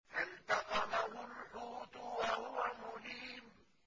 فَالْتَقَمَهُ الْحُوتُ وَهُوَ مُلِيمٌ